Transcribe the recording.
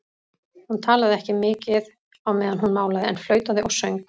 Hún talaði ekki mikið á meðan hún málaði en flautaði og söng.